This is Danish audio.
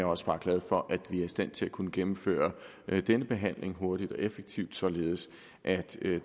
også bare glad for at vi er i stand til at kunne gennemføre denne behandling hurtigt og effektivt således at det